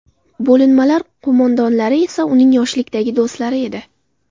Bo‘linmalar qo‘mondonlari esa uning yoshlikdagi do‘stlari edi.